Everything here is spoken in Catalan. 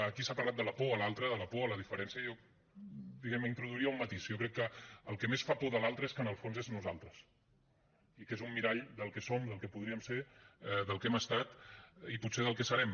aquí s’ha parlat de la por de l’altre de la por de la diferència jo diguem ne introduiria un matís jo crec que el que més fa por de l’altre és que en el fons és nosaltres i que és un mirall del que som del que podríem ser del que hem estat i potser del que serem